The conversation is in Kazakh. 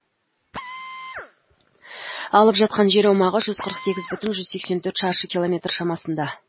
алып жатқан жер аумағы жүз қырық сегіз бүтін жүз сексен төрт шаршы километр шамасында